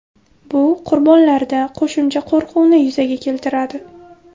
Bu qurbonlarda qo‘shimcha qo‘rquvni yuzaga keltiradi.